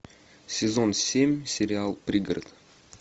сезон семь сериал пригород